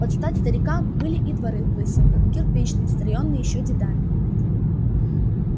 под стать старикам были и дворы в выселках кирпичные стронные ещё дедами